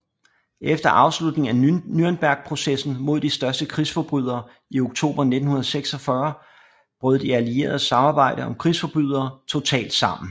Efter afslutningen af Nürnbergprocessen mod de største krigsforbrydere i oktober 1946 brød de allieredes samarbejde om krigsforbrydere totalt sammen